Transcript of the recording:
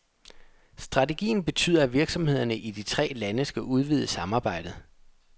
Strategien betyder, at virksomhederne i de tre lande skal udvide samarbejdet.